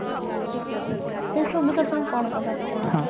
ସେ ସବୁ ବିଷୟରେ ତମେ କଣ କହିବାକୁ ଚାହୁଁଚ